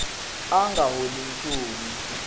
a a nga holi nchumu